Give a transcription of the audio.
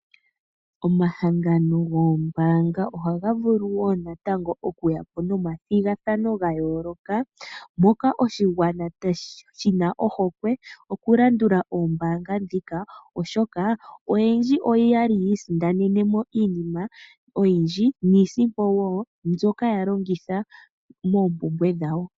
Omahangano goombaanga ohaga vulu wo natango oku yapo nomathigathano ga yooloka, moka oshigwana shina ohokwe oku landula oombaanga ndhika, oshoka oyendji oyali ya isindanene mo iinima oyindji, niisimpo wo mbyoka ya longitha moompumbwe dhawo.